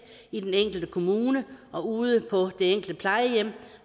i den enkelte kommune og ude på det enkelte plejehjem